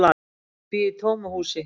Ég bý í tómu húsi.